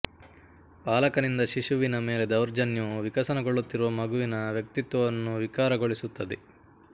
ಪಾಲಕನಿಂದ ಶಿಶುವಿನ ಮೇಲೆ ದೌರ್ಜನ್ಯವು ವಿಕಸನಗೊಳ್ಳುತ್ತಿರುವ ಮಗುವಿನ ವ್ಯಕ್ತಿತ್ವವನ್ನು ವಿಕಾರಗೊಳಿಸುತ್ತದೆ